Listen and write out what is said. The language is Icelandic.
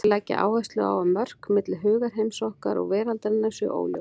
Þeir leggja áherslu á að mörk milli hugarheims okkar og veraldarinnar séu óljós.